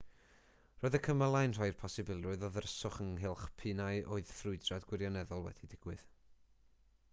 roedd y cymylau'n rhoi'r posibilrwydd o ddryswch ynghylch p'un a oedd ffrwydrad gwirioneddol wedi digwydd